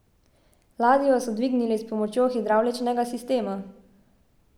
Ladjo so dvignili s pomočjo hidravličnega sistema.